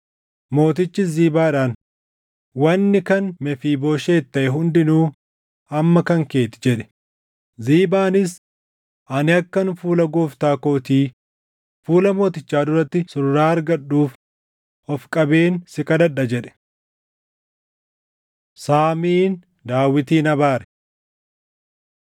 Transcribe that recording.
Mootichis Ziibaadhaan, “Wanni kan Mefiibooshet taʼe hundinuu amma kan kee ti” jedhe. Ziibaanis, “Ani akkan fuula gooftaa kootii, fuula mootichaa duratti surraa argadhuuf ofi qabeen si kadhadha” jedhe. Saamiin Daawitin Abaare